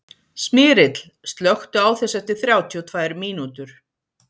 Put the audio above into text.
Smyrill, slökktu á þessu eftir þrjátíu og tvær mínútur.